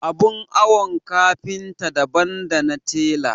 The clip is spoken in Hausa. Abin awon kafinta daban dana tela.